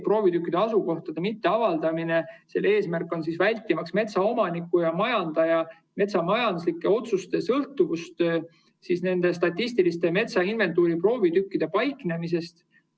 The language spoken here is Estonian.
Proovitükkide asukoha mitteavaldamise eesmärk on see, et vältida metsa omaniku ja majandaja metsamajanduslike otsuste sõltuvust nende statistiliste metsainventuuri proovitükkide paiknemisest.